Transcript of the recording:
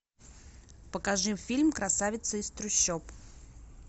покажи фильм красавица из трущоб